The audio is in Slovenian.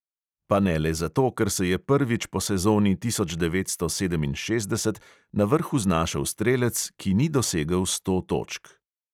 Pa ne le zato, ker se je prvič po sezoni tisoč devetsto sedeminšestdeset na vrhu znašel strelec, ki ni dosegel sto točk.